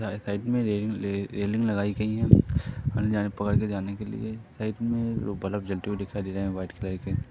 सा साइड में रे रेलिंग लगाई गई है पकड़ के जाने के लिए साइड में दो बलफ जलते हुए दिखाई दे रहे है व्हाइट कलर के --